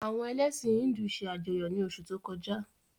Àwọn elẹ̀sin Híndù se ajọyọ ni osu to koja.